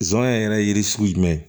Zonyɛ yɛrɛ yiri sugu jumɛn